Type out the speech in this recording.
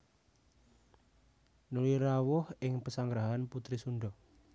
Nuli rawuh ing pesanggrahan putri Sundha